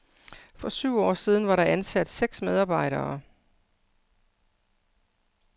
For syv år siden var der ansat seks medarbejdere.